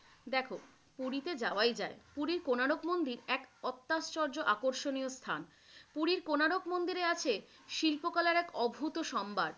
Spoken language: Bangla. দেখো, পুরীতে যাওয়াই যায়। পুরীর কোণার্ক মন্দির এক অত্যাশ্চ্য আকর্ষণীয় স্থান, পুরীর কোণার্ক মন্দিরে আছে শিল্পকলার এক অভূত সম্ভার।